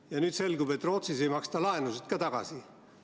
Ja nüüd selgub, et Rootsis ei maksta laenusid ka tagasi.